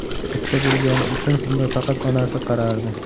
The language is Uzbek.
Bitta bo‘lgani uchun unga faqat onasi qarardi.